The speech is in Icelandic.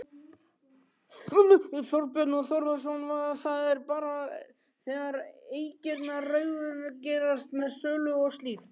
Þorbjörn Þórðarson: Það er bara þegar eignirnar raungerast með sölu og slíkt?